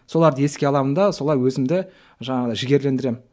соларды еске аламын да солай өзімді жаңағындай жігерлендіремін